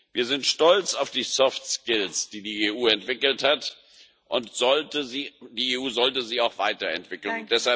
Wir sind stolz auf die Soft Skills, die die EU entwickelt hat, und die EU sollte sie auch weiterentwickeln.